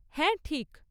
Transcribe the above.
হ্যাঁ ঠিক।